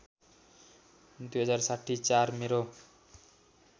२०६० ४ मेरो